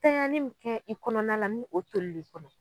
Tanyani min kɛ i kɔnɔna la ni o tolil'i kɔnɔ.